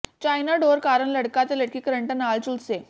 China ਡੋਰ ਕਾਰਨ ਲੜਕਾ ਤੇ ਲੜਕੀ ਕਰੰਟ ਨਾਲ ਝੁਲਸੇ